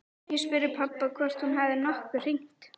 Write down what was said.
Ég spurði pabba hvort hún hefði nokkuð hringt.